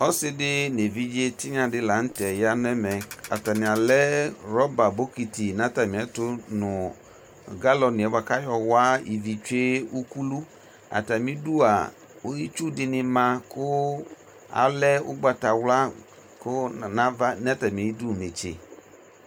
ɔsi di n'evidze tinya di lantɛ ya n'ɛmɛ atani alɛ rɔba bokiti n'atami ɛto no galɔn yɛ boa k'ayɔ wa ivi tsue ukulu atami du itsu di ni ma kò alɛ ugbata wla kò n'ava n'atami du netse